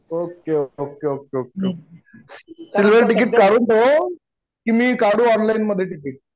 okay okay okay okay silver ticket काढून ठेव की मी काढू ऑनलाइन मध्ये टिकिट